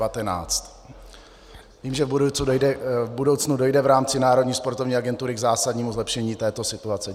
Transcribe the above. Vím, že v budoucnu dojde v rámci Národní sportovní agentury k zásadnímu zlepšení této situace.